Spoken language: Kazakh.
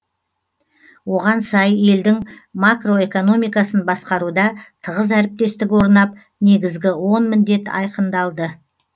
оған сай елдің макроэкономикасын басқаруда тығыз әріптестік орнап негізгі он міндет айқындалды